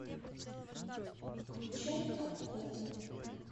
включай обход